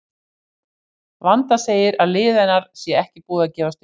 Vanda segir að lið hennar sé ekki búið að gefast upp.